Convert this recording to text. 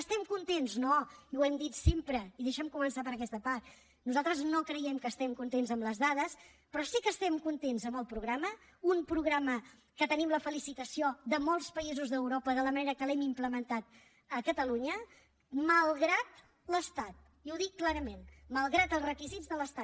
estem contents no i ho hem dit sempre i deixa’m començar per aquesta part nosaltres no creiem que estem contents amb les dades però sí que estem contents amb el programa un programa que tenim la felicitació de molts països d’europa de la manera que l’hem implementat a catalunya malgrat l’estat i ho dic clarament malgrat els requisits de l’estat